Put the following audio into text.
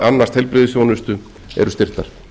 að annast heilbrigðisþjónustu eru styrktar